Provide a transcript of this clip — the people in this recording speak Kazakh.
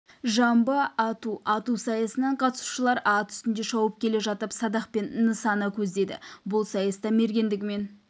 жамбы ату ату сайысына қатысушылар ат үстінде шауып келе жатып садақпен нысана көздеді бұл сайыста мергендігімен